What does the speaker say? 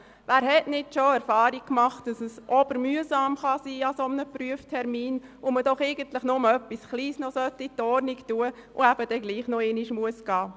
Wer hat nicht schon die Erfahrung gemacht, dass ein Prüftermin ausserordentlich mühsam sein kann, wenn man nur eine beanstandete Kleinigkeit noch in Ordnung bringen muss und dadurch ein weiterer Kontrolltermin nötig wird?